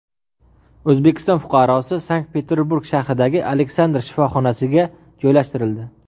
O‘zbekiston fuqarosi Sankt-Peterburg shahridagi Aleksandr shifoxonasiga joylashtirildi.